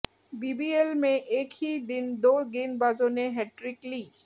BBL में एक ही दिन दो गेंदबाजों ने हैट्रिक ली